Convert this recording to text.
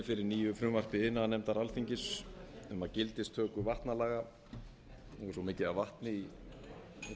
fyrir nýju frumvarpi iðnaðarnefndar alþingis um að gildistöku vatnalaga nú er svo mikið af vatni í ræðustól að ég kemst